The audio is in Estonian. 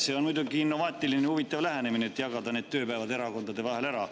See on muidugi innovaatiline ja huvitav lähenemine: jagada tööpäevad erakondade vahel ära.